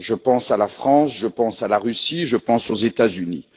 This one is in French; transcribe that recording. Je pense à la France, je pense à la Russie, je pense aux États Unis.